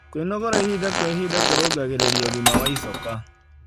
Kwĩnogora ĩhĩda kwa ĩhĩda kũrũngagĩrĩrĩa ũgima wa ĩchoka